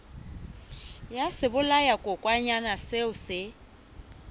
ya sebolayakokwanyana seo o se